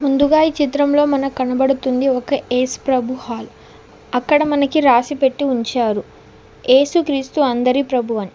ముందుగా ఈ చిత్రంలో మనకు కనబడుతుంది ఒక ఏసుప్రభు హాల్ అక్కడ మనకి రాసిపెట్టి ఉంచారు ఏసుక్రీస్తు అందరి ప్రభువని.